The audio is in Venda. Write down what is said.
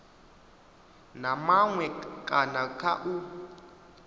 na maṅwe kana kha u